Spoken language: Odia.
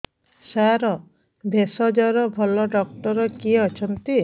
ସାର ଭେଷଜର ଭଲ ଡକ୍ଟର କିଏ ଅଛନ୍ତି